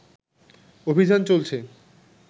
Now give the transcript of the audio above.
অভিযান চলছে